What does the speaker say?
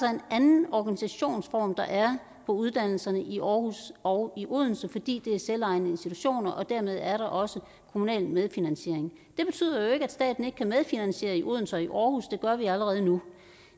en anden organisationsform der er på uddannelserne i aarhus og i odense fordi det er selvejende institutioner og dermed er der også kommunal medfinansiering det betyder jo ikke at staten ikke kan medfinansiere i odense og i aarhus og gør vi allerede nu